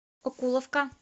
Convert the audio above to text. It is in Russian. окуловка